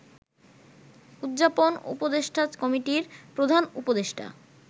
উদযাপন উপদেষ্টা কমিটির প্রধান উপদেষ্টা